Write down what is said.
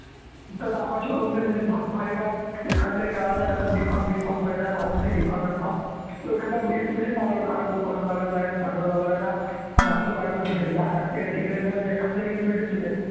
पापाची पुण्य थोडीफार एखादं BpharmBpharm pharmacyDpharmMpharm एखादं येऊन बसेल बाजुले का रे भाऊ कसं चालू आहे चांगलं चालू आहे ना आणि आपलं तिकडे एखादं येऊन भेटीन तुले